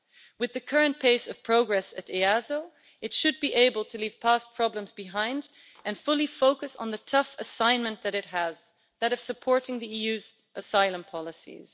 With the current pace of progress at EASO, it should be able to leave past problems behind and fully focus on the tough assignment that it has that of supporting the EU's asylum policies.